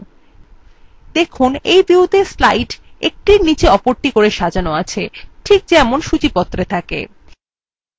দেখুন in viewত়ে slides একটির নীচে অপরটি করে সাজানো আছে ঠিক যেমন সূচীপত্রে থাকে i